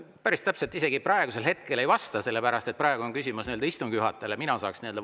Päris täpselt isegi ei vasta, sellepärast et praegu on küsimus istungi juhatajale.